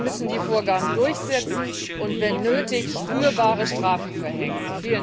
Sie müssen die Vorgaben durchsetzen und wenn nötig spürbare Strafen verhängen.